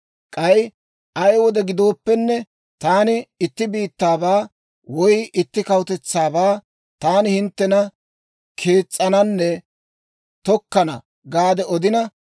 K'ay ay wode gidooppenne, taani itti biittaabaa woy itti kawutetsaabaa, Taani hinttena kees's'ananne tokkana gaade odina,